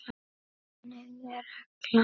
Eva: Hvar sitjið þið?